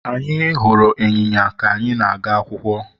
Anyị hụrụ ịnyịnya ka anyị na-aga akwụkwọ.